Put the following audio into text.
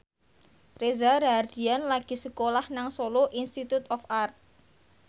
Reza Rahardian lagi sekolah nang Solo Institute of Art